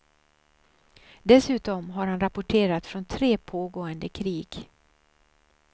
Dessutom har han rapporterat från tre pågående krig.